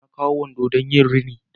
Na kawo wando na don yin rini